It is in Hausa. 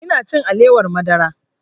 Ina cin alewar madara